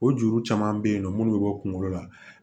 O juru caman bɛ yen nɔ minnu bɛ bɔ kunkolo la